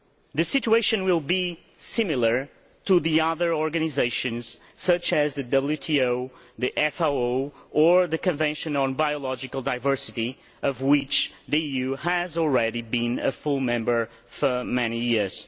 The situation will be similar to the other organisations such as the WTO, the FAO or the Convention on Biological Diversity, of which the EU has been a full member for many years.